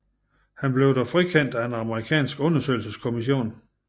Han blev dog frikendt af en amerikansk undersøgelseskommission